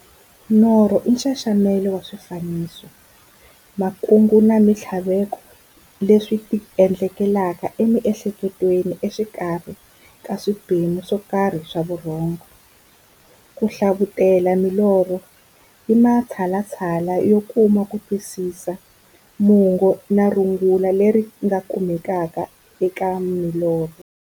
Norho i nxaxamelo wa swifaniso, makungu na minthlaveko leswi ti endlekelaka e mi'hleketweni exikarhi ka swiphemu swokarhi swa vurhongo. Ku hlavutela milorho i matshalatshala yo kuma kutwisisa mungo na rungula leri nga kumekaka eka milorho.